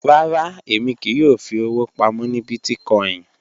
Rárá, èmi kíì yọ́ò fí ọ̀wọ̀ pámọ̀ ní bíìtìkòìn